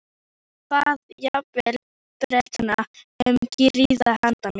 Hann bað jafnvel Bretana um grið handa mér.